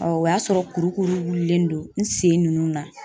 o y'a sɔrɔ kuru kuru wulilen don n sen nunnu na.